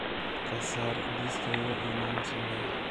ka saar liiskayga inaan sameeyo